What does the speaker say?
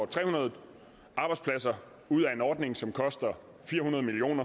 tre hundrede arbejdspladser ud af en ordning som koster fire hundrede million